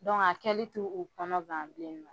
kɛli t'u u kɔnɔ gan bilen nɔ